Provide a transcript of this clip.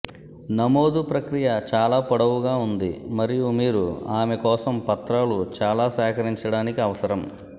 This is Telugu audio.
నమోదు ప్రక్రియ చాలా పొడవుగా ఉంది మరియు మీరు ఆమె కోసం పత్రాలు చాలా సేకరించడానికి అవసరం